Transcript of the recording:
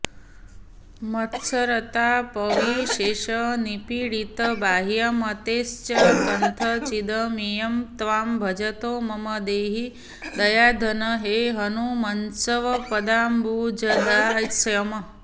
मत्सरतापविशेषनिपीडितबाह्यमतेश्च कथंचिदमेयं त्वां भजतो मम देहि दयाघन हे हनुमन्स्वपदाम्बुजदास्यम्